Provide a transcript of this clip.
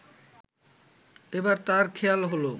এবার তাঁর খেয়াল হলো